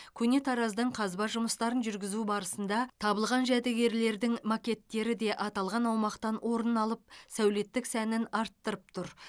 көне тараз дың қазба жұмыстарын жүргізу барысында табылған жәдігерлердің макеттері де аталған аумақтан орын алып сәулеттік сәнін артырып тұр